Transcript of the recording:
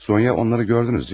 Sonya, onları gördünüz, deyilmi?